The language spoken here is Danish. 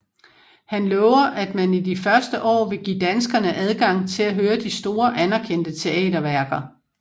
Han lover at man i de første år vil give danskerne adgang til at høre de store anerkendte teaterværker